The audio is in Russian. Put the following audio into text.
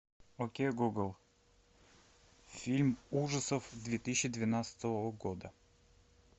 окей гугл фильм ужасов две тысячи двенадцатого года